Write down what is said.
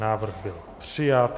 Návrh byl přijat.